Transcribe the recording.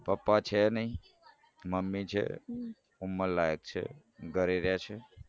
પપ્પા છે નાઈ મમ્મી છે ઉંમરલાયક છે ઘરે રે છે.